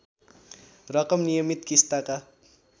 रकम नियमित किस्ताका